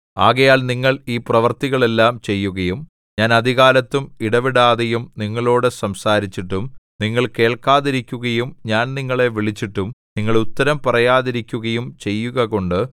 ആകയാൽ നിങ്ങൾ ഈ പ്രവൃത്തികൾ എല്ലാം ചെയ്യുകയും ഞാൻ അതികാലത്തും ഇടവിടാതെയും നിങ്ങളോടു സംസാരിച്ചിട്ടും നിങ്ങൾ കേൾക്കാതിരിക്കുകയും ഞാൻ നിങ്ങളെ വിളിച്ചിട്ടും നിങ്ങൾ ഉത്തരം പറയാതിരിക്കുകയും ചെയ്യുകകൊണ്ട്